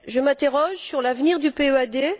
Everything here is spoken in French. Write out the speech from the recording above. Je m'interroge sur l'avenir du PEAD.